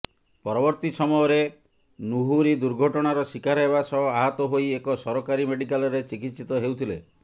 ପରବର୍ତ୍ତୀ ସମୟରେ ନୁହୁରୀ ଦୁର୍ଘଟଣାର ଶିକାର ହେବା ସହ ଆହତ ହୋଇ ଏକ ସରକାରୀ ମେଡ଼ିକାଲରେ ଚିକିତ୍ସିତ ହେଉଥିଲେ